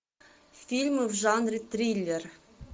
фильмы в жанре триллер